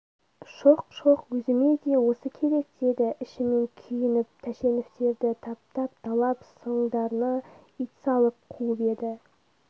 шоқ-шоқ өзіме де осы керек деді ішінен күйініп тәшеновтерді таптап талап соңдарына ит салып қуып еді